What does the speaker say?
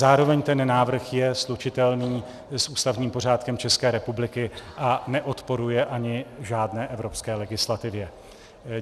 Zároveň ten návrh je slučitelný s ústavním pořádkem České republiky a neodporuje ani žádné evropské legislativě.